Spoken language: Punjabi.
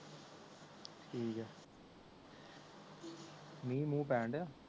ਠੀਕ ਏ ਮਿਹ ਮੂੰਹ ਪੈਣ ਦਿਆ